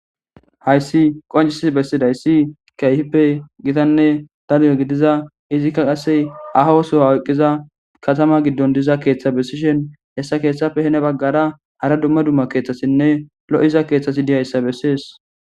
hayssi qoncisis bessidayssi keyhippe gitanne dalu7o gidiza izikka qasse aha osoha oyqqiza katama giddon diza keeththa bessishen hessa keeththapfe hene baggara hara dumma dumma keeththasinne lo7iza keeththasi diyayssa bessees